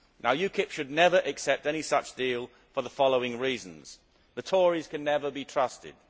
Now UKIP should never accept any such deal for the following reasons The Tories can never be trusted.